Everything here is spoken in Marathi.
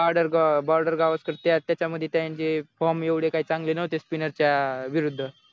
बॉर्डर गो बॉर्डर गावस्कर त्या त्याच्यामध्ये त्यांचे फॉर्म एवढे काय चांगले नव्हते स्पिनर च्या विरुद्ध